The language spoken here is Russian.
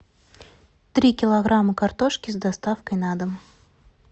три килограмма картошки с доставкой на дом